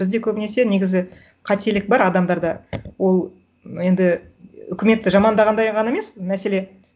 бізде көбінесе негізі қателік бар адамдарда ол енді үкіметті жамандағандай ғана емес мәселе